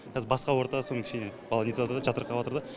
қазір басқа орта сонымен кішкене бала нетіватыр да жатырқаватыр да